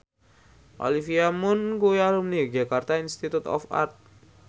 Olivia Munn kuwi alumni Yogyakarta Institute of Art